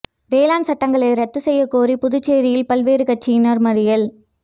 வேளாண் சட்டங்களை ரத்து செய்யக் கோரி புதுச்சேரியில் பல்வேறு கட்சியினா் மறியல்